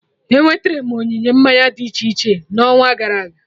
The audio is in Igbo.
Enweterem onyinye mmanya dị iche iche n'ọnwa gara aga